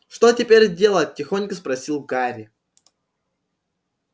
что теперь делать тихонько спросил гарри